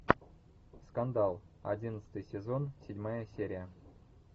скандал одиннадцатый сезон седьмая серия